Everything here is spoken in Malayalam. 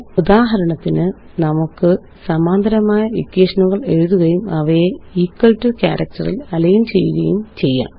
ഉദാഹരണത്തിന് നമുക്ക് സമാന്തരമായ ഇക്വേഷനുകള് എഴുതുകയും അവയെ ഇക്വൽ ടോ കാരക്റ്ററില് അലൈന് ചെയ്യുകയും ചെയ്യാം